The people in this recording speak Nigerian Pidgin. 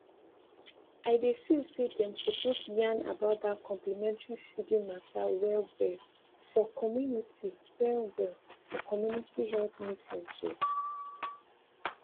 i dey feel say dem suppose yarn about dat complementary feeding mata wellwell for community wellwell for community health meetings o